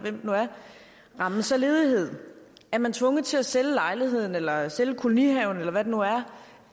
hvem det nu er rammes af ledighed er man tvunget til at sælge lejligheden eller sælge kolonihaven eller hvad det nu er